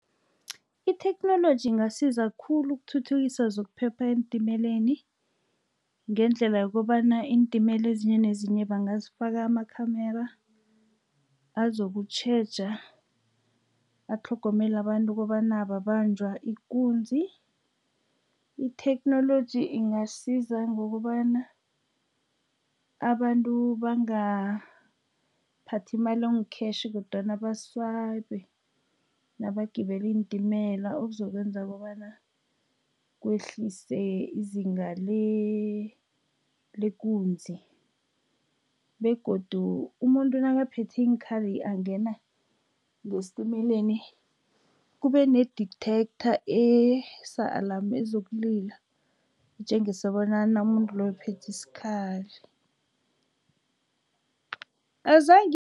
Itheknoloji ingasiza khulu ukuthuthukisa zokuphepha eentimeleni, ngendlela yokobana iintimela ezinye nezinye bangazifaka ama-camera, azokutjheja, atlhogomele abantu ukobana babanjwa ikunzi. Itheknoloji ingasiza ngokobana abantu bangaphathi imali engu-cash, kodwana ba-swipe nabagibela iintimela, okuzokwenza kobana kwehlise izinga lekunzi. Begodu umuntu nakaphethe iinkhali angena ngesitimeleni, kube ne-detector esa-alarm ezokulila, etjengisa bona umuntu loyo uphethe isikhali